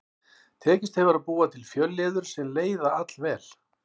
Tekist hefur að búa til fjölliður sem leiða allvel.